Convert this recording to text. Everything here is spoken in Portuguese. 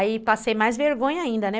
Aí passei mais vergonha ainda, né?